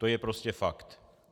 To je prostě fakt.